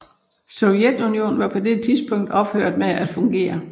Sovjetunionen var på dette tidlspunkt ophørt med at fungere